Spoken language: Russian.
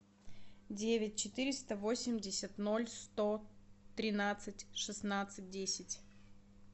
девять четыреста восемьдесят ноль сто тринадцать шестнадцать десять